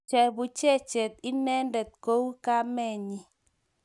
Chebuchechet inendet kou kamenyi